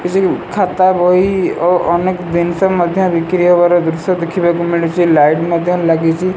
କିସିଗୁ ଖାତା ବହି ଓ ଅନେକ ଦିନଷ ମଧ୍ୟ ବିକ୍ରି ହବାର ଦୃଶ୍ୟ ଦେଖିବାକୁ ମିଳୁଚି। ଲାଇଟ୍ ମଧ୍ୟ ଲାଗିଚି।